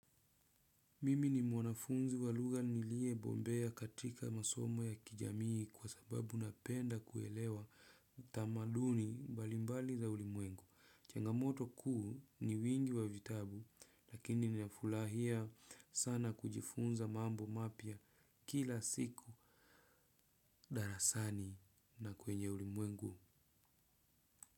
Mimi ni mwanafunzi wa lugha niliyebobea katika masomo ya kijamii kwa sababu napenda kuelewa tamaduni mbalimbali za ulimwengu. Changamoto kuu ni wingi wa vitabu lakini ninafulahia sana kujifunza mambo mapya kila siku darasani na kwenye ulimwengu.